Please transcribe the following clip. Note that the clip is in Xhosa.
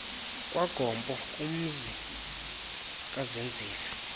kwagompo kumzi kazenzile